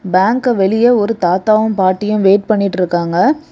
பேங்க்கு வெளியே ஒரு தாத்தாவும் பாட்டியும் வெயிட் பண்ணிட்டிருக்காங்க.